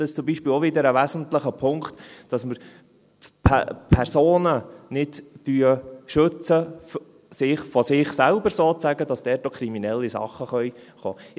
Das ist zum Beispiel auch wieder ein wesentlicher Punkt: dass wir die Personen sozusagen nicht vor sich selber schützen, dass dort auch kriminelle Sachen kommen können.